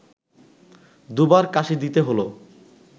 দুবার কাঁশি দিতে হলো